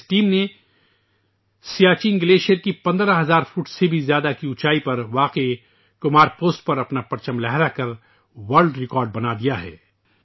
اس team نے Siachen glacier کی 15 ہزار فٹ سے زیادہ اونچائی پر واقع 'کمار پوسٹ' پر اپنا جھنڈا لہرا کر عالمی ریکارڈ بنادیا ہے